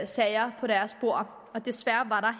sager på deres bord desværre